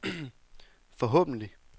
forhåbentlig